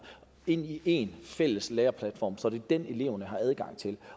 ind i én fælles læringsplatform så det er den eleverne har adgang til